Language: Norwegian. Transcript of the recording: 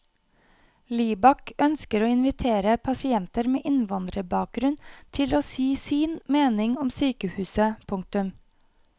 Libak ønsker å invitere pasienter med innvandrerbakgrunn til å si sin mening om sykehuset. punktum